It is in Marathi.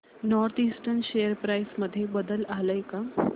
नॉर्थ ईस्टर्न शेअर प्राइस मध्ये बदल आलाय का